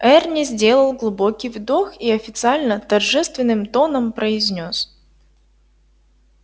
эрни сделал глубокий вдох и официально торжественным тоном произнёс